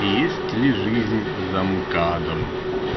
есть ли жизнь за мкадом